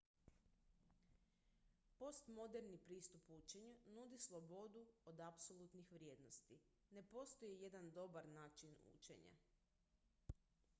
postmoderni pristup učenju nudi slobodu od apsolutnih vrijednosti ne postoji jedan dobar način učenja